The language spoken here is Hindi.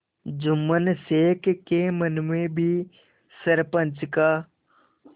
जुम्मन शेख के मन में भी सरपंच का